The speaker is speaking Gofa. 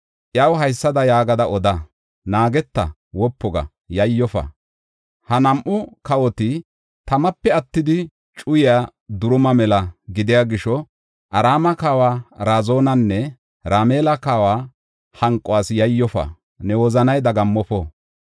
Iyaw haysada yaagada oda; ‘Naageta; wopu ga; yayyofa. Ha nam7u kawoti tamape attidi cuyaa duruma mela gidiya gisho, Araame kawa Razinanne Ramala na7aa hanquwas yayyofa; ne wozanay dagammofo.’